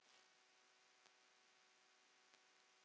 Án efa, hvers vegna ekki?